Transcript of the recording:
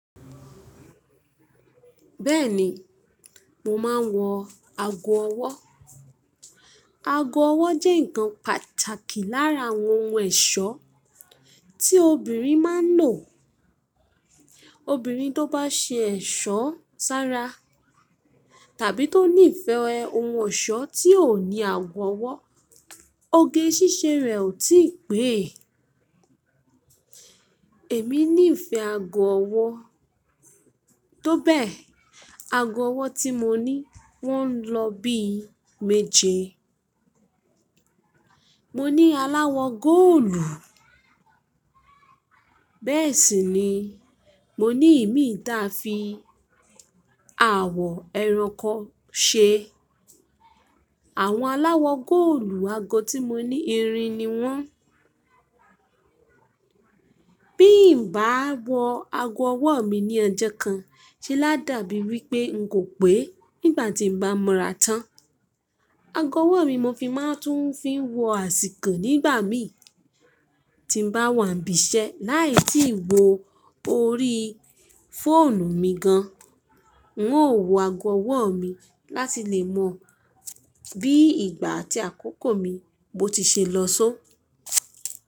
Bẹ́ẹ̀ni, mo máa ń wọ ago ọwọ́. Ago ọwọ́ jẹ́ nǹkan pàtàkì lára àwọn ohun ẹ̀ṣọ́ tí obìnrin máa ń lò. Obìnrin tó bá ṣe ẹ̀ṣọ́ sára tàbí tó ní ìfẹ́ ohun ọ̀ṣọ́ tí ò ní ago ọwọ́, oge ṣíṣe rẹ̀ ò tí pẹ́. Èmi ní ìfẹ́ ago ọwọ́, tó bẹ́ẹ̀, ago ọwọ́ tí mo ní wọ́n ń lọ bí meje. Mo ní aláwọ̀ góòlù, bẹ́ẹ̀ sì ni mo ní ìmíì ta fi awọ ẹranko ṣe. Àwọn aláwọ̀ góòlù ago tí mo ní irin ni wọ́n. Bí n bá wọ ago ọwọ́ mi ní ọjó kan ṣe lá dàbí wí pé n kò pé nígbà tí n bá mọra tán. Ago ọwọ́ mi mo fi máa tún ń fi wọ àsìkò nígbà mí tí n bá wà níbi iṣẹ́ láì tíì wo orí fóònù mi gan. N ó wọ ago ọwọ́ mi láti lè mọ bí ìgbà àti àkókò mi bo ti ṣe lọ só.